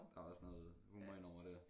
Der er også noget humor ind over dér